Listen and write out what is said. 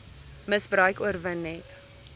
misbruik oorwin net